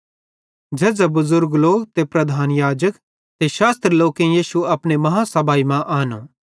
झ़ेझ़ां बुज़ुर्ग लोक ते प्रधान याजक ते शास्त्री लोकेईं यीशु अपनी बेड्डी आदालत मां आनो